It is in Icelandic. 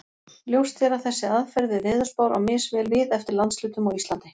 Ljóst er að þessi aðferð við veðurspár á misvel við eftir landshlutum á Íslandi.